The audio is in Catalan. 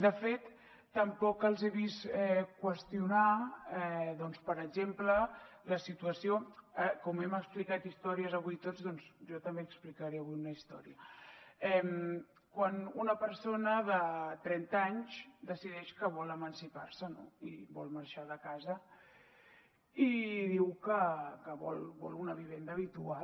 de fet tampoc els he vist qüestionar doncs per exemple la situació de com hem explicat històries avui tots doncs jo també explicaré avui una història quan una persona de trenta anys decideix que vol emancipar se no i vol marxar de casa i diu que vol una vivenda habitual